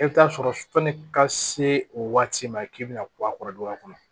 E bɛ taa sɔrɔ sɔni ka se o waati ma k'i bɛna bɔ a kɔrɔ du a kɔnɔ